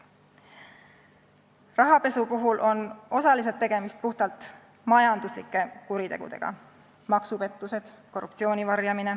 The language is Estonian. Rahapesu puhul on osaliselt tegemist puhtalt majanduslike kuritegudega .